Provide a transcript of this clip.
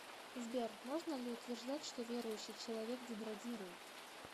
сбер можно ли утверждать что верующий человек деградирует